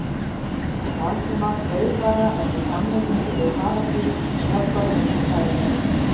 Valdimar beið bara eftir samlíkingu við Paradís og höggorminn sem þar leyndist.